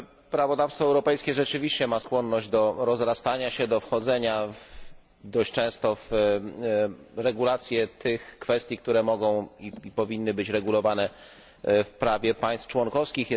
Prawodawstwo europejskie rzeczywiście ma skłonność do rozrastania się, do wchodzenia dość często w regulowanie tych kwestii, które mogą i powinny być regulowane w prawie państw członkowskich.